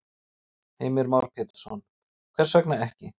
Heimir Már Pétursson: Hvers vegna ekki?